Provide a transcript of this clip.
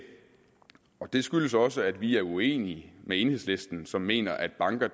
det skyldes også at vi er uenige med enhedslisten som mener at banker